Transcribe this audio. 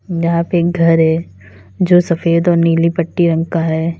यहां पे एक घर है जो सफेद और नीली पटी रंग का है।